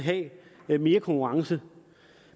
vil have mere konkurrence